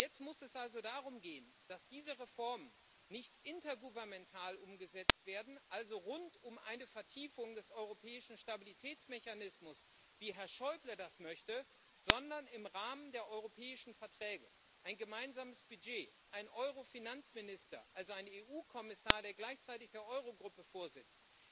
Jetzt muss es also darum gehen, dass diese Reformen nicht intergouvernemental umgesetzt werden also rund um eine Vertiefung des Europäischen Stabilitätsmechanismus, wie Herr Schäuble das möchte sondern im Rahmen der europäischen Verträge ein gemeinsames Budget, ein Eurofinanzminister, also ein EU Kommissar, der gleichzeitig der Eurogruppe vorsitzt,